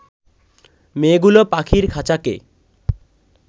মেয়েগুলো পাখির খাঁচাকে